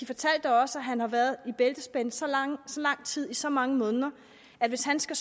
fortalte også at han har været i bæltespænde så lang tid i så mange måneder at hvis han skal